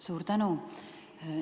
Suur tänu!